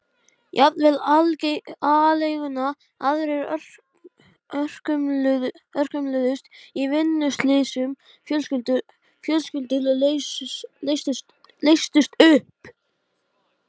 Ég bað pabba að hætta að skamma hann.